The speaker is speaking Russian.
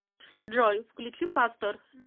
джой включи пастор